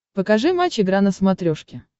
покажи матч игра на смотрешке